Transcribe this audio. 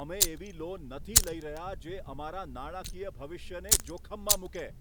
અમે એવી લોન નથી લઈ રહ્યા, જે અમારા નાણાકીય ભવિષ્યને જોખમમાં મૂકે!